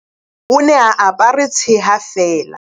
O ne a apare tsheha feela.